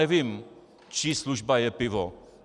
Nevím, čí služba je pivo.